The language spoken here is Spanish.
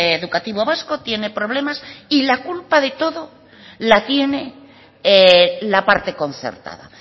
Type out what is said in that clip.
educativo vasco tiene problemas y la culpa de todo la tiene la parte concertada